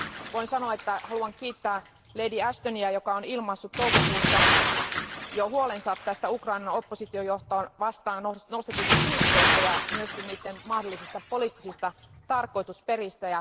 Voin sanoa, että haluan kiittää Lady Ashtonia, joka on ilmaissut jo toukokuussa huolensa näistä Ukrainan opposition johtoa vastaan nostetuista syytteistä ja niiden mahdollisista poliittisista tarkoitusperistä.